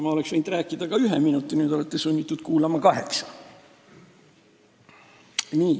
Ma oleksin võinud rääkida ka ühe minuti, nüüd olete sunnitud kuulama kaheksa.